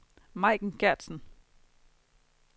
Majken Gertsen